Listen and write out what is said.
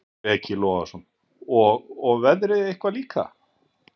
Breki Logason: Og, og veðrið eitthvað líka?